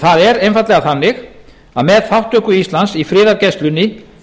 það er einfaldlega þannig að með þátttöku íslands í friðargæslunni